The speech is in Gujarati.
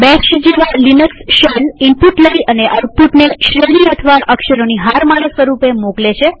બેશ જેવા લિનક્સ શેલઈનપુટ લઇ અને આઉટપુટને શ્રેણી અથવા અક્ષરોની હારમાળા સ્વરૂપે મોકલે છે